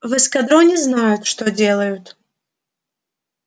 в эскадроне знают что делают